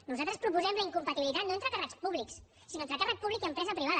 nosaltres proposem la incompatibilitat no entre càrrecs públics sinó entre càrrec públic i empresa privada